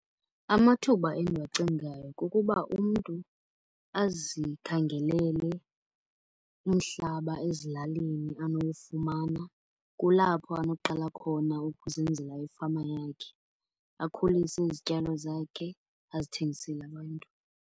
Amathuba endiwacingayo kukuba umntu azikhangelele umhlaba ezilalini anowufumana. Kulapho anoqala khona ukuzenzela ifama yakhe. Akhulise izityalo zakhe azithengisele abantu.